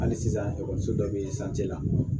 Hali sisan ekɔliso dɔ bɛ yen la